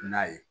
N'a ye